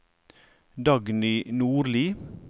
Dagny Nordli